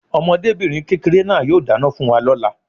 Ọmọdébìnrin kékeré náà yóò dáná fún wa lóla